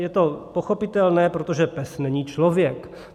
Je to pochopitelné, protože pes není člověk.